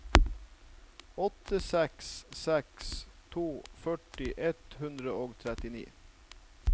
åtte seks seks to førti ett hundre og trettini